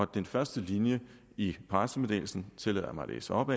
den første linje i pressemeddelelsen tillader jeg mig at læse op